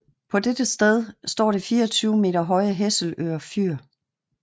På dette sted står det 24 meter høje Hesselø Fyr